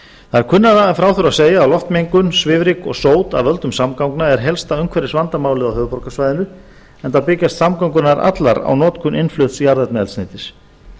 það er kunnara en frá þurfi að segja að loftmengun svifryk og sót af völdum samgangna er helsta umhverfisvandamálið á höfuðborgarsvæðinu enda byggjast samgöngur nær allar á notkun innflutts jarðefnaeldsneytis